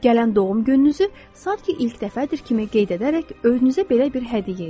Gələn doğum gününüzü sanki ilk dəfədir kimi qeyd edərək özünüzə belə bir hədiyyə edin.